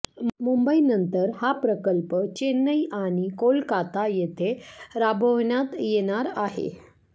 मुंबईनंतर हा प्रकल्प चेन्नई आणि कोलकाता येथे राबवण्यात येणार आहे